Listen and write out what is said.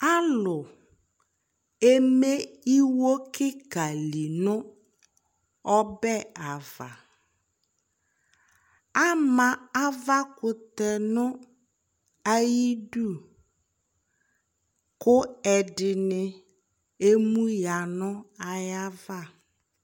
alò eme iwo keka li no ɔbɛ ava ama ava kutɛ no ayi du kò ɛdini emu ya no ayi ava